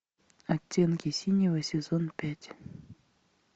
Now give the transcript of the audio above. оттенки синего сезон пять